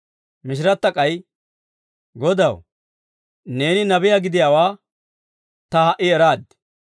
Mishiratta k'ay, «Godaw, neeni nabiyaa gidiyaawaa ta ha"i eraad;